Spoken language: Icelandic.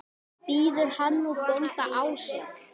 Biður hann nú bónda ásjár.